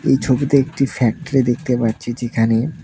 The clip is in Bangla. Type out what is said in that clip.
এই ছবিতে একটি ফ্যাক্টরি দেখতে পারছি যেখানে--